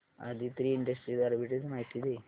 Aditri industries arbitrage माहिती दे